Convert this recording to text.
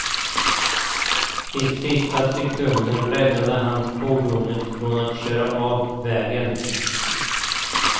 I sista sekund räddade han fordonet från att köra av vägen.